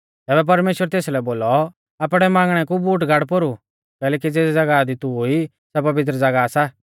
तैबै परमेश्‍वरै तेसलै बोलौ आपणै बांगणै कु बूट गाड़ पोरु कैलैकि ज़ेज़ी ज़ागाह दी तू ई सै पवित्र ज़ागाह सा